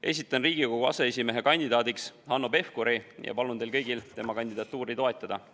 Esitan Riigikogu aseesimehe kandidaadiks Hanno Pevkuri ja palun teil kõigil tema kandidatuuri toetada.